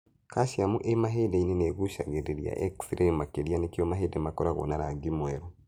Calcium ĩ mahĩndĩ-inĩ ĩgucagia xray makĩria nĩkĩo mahĩndĩ makoragwo na rangi mwerũ.